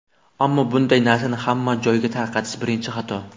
Ammo bunday narsani hamma joyga tarqatish birinchi xato.